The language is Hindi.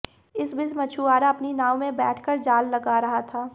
इस बीच मछुआरा अपनी नाव में बैठ कर जाल लगा रहा था